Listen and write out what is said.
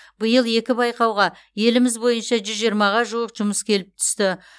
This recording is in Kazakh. биыл екі байқауға еліміз бойынша жүз жиырмаға жуық жұмыс келіп түсті